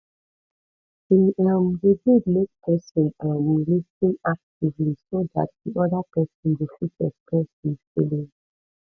e um dey good make person um lis ten actively so dat di oda person go fit express im feelings